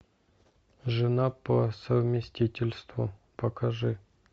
жена по совместительству покажи